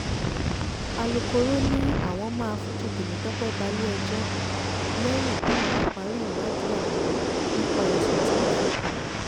alūkọ̀rọ́ ni àwọn máa fojú temitọ́pẹ́ balẹ̀-ẹjọ́ lẹ́yìn táwọn bá parí ìwádìí àwọn nípa ẹ̀sùn tí wọ́n fi kàn án